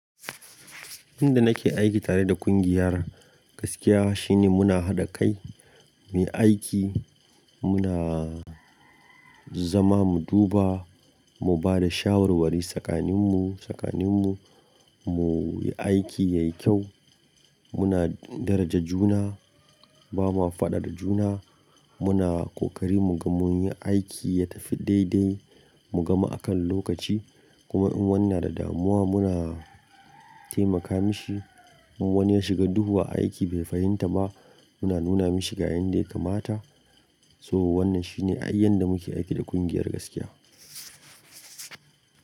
Inda nake aiki tare da kungiyar gaskiya shine muna haɗa kai muyi aiki, muna zama mu duba, mu bada shawarwari tsakaninmu, tsakaninmu muyi aiki yayi kyau. Muna daraja juna, ba ma faɗa da juna, muna kokari mu ga munyi aiki ya tafi daidai, mu gama a kan lokaci kuma in wanni na da damuwa muna taimaka mishi. In wani ya shiga duhu a aiki bai fahimta ba muna nuna mishi ga yanda ya kamata. So wannan shine ai yanda muke aiki da kungiyar gaskiya.